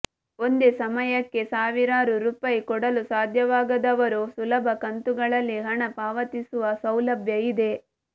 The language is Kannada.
ಒಂದೇ ಸಮಯಕ್ಕೆ ಸಾವಿರಾರು ರೂಪಾಯಿ ಕೊಡಲು ಸಾಧ್ಯವಾಗದವರು ಸುಲಭ ಕಂತುಗಳಲ್ಲಿ ಹಣ ಪಾವತಿಸುವ ಸೌಲಭ್ಯ ಇದೆ